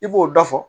I b'o dɔ fɔ